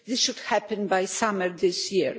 This should happen by summer this year.